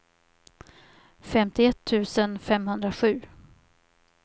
femtioett tusen femhundrasju